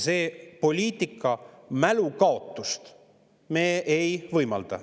" Sellist poliitika mälukaotust me ei võimalda.